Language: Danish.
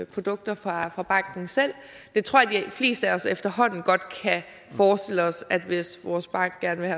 produkter fra fra banken selv jeg tror at de fleste af os efterhånden godt kan forestille os at hvis vores bank gerne vil